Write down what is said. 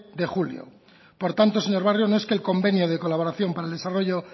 de julio por tanto señor barrio no es que el convenio del colaboración para el desarrollo